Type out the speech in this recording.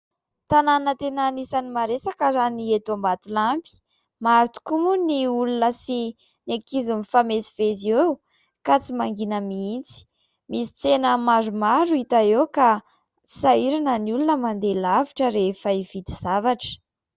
Tanàna tena anisan'ny maresaka raha ny eto Ambatolampy. Maro tokoa moa ny olona sy ny ankizy mifamezivezy eo ka tsy mangina mihitsy ; misy tsena maromaro hita eo ka tsy sahirana ny olona mandeha lavitra rehefa hividy zavatra.